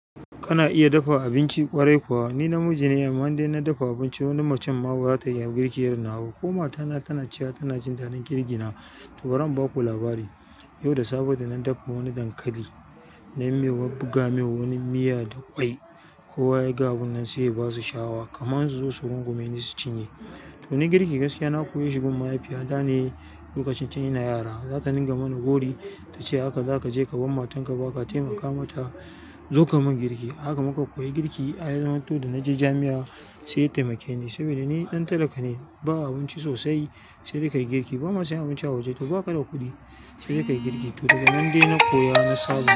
Kana iya dafa abinci ƙwarai kuwa? Ni namiji ne, amma dai ina dafa abinci wani macen ma bata iya girki irin nawa. Ko ma tana, tana cewa tana jin daɗin girgi na. To, bari in baku labari. Yau da safe da na dafa wani dankali, na yi mai wa buga mai wani miya da ƙwai. Kowa ya ga abin nan sai ya ba su sha'awa kamar su zo su rungume ni su cinye. To, ni girki gaskiya na koye shi gurin mahaifiyata ne. Lokacin tun ina yara, za ta dinga mana gori ta ce, "haka za ka je ka bar matanka ba ka taimaka mata." Zo ka mun girki, haka muka koyi girki. Ai, zamanto da na je jami'a sai ya taimake ni. Saboda ni ɗan talaka ne, ba abinci sosai. Sai dai ka yi girki, ba ma sai abinci a waje to ba ka da kuɗi. Sai dai ka yi girki. To daga nan dai na koya, na samu.